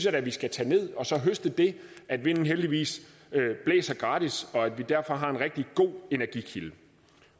at vi skal tage ned og så høste det at vinden heldigvis blæser gratis og at vi derfor har en rigtig god energikilde